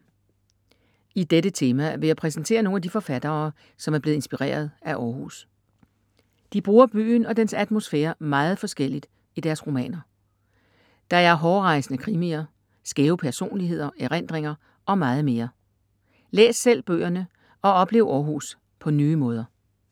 I dette tema vil jeg præsentere nogle af de forfattere, som er blevet inspireret af Århus. De bruger byen og dens atmosfære meget forskelligt i deres romaner. Der er hårrejsende krimier, skæve personligheder, erindringer og meget mere. Læs selv bøgerne og oplev Århus på nye måder.